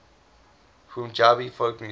punjabi folk music